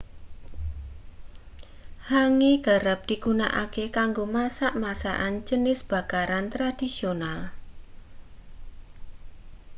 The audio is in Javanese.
hangi kerep digunakake kanggo masak masakan jenis bakaran tradisional